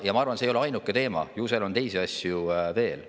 Ja ma arvan, et see ei ole ainuke teema, ju seal on teisi asju veel.